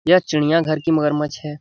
यह चिड़ियाँ घर की मगरमच्छ है।